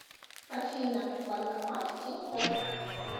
афина банкомат тинькофф